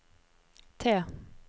T